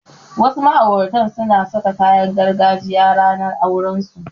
Wasu ma'auratan suna saka kayan gargajiya ranar aurensu.